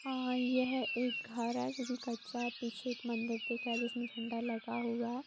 और यह एक घर है जो कि कच्चा है। पीछे एक मंदिर दिख रहा है जिसमें झंडा लगा हुआ है।